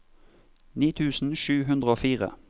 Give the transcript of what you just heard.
ni tusen sju hundre og fire